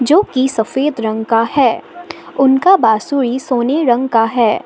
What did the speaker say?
जोकि सफेद रंग का है उनका बांसुरी सोने रंग का है।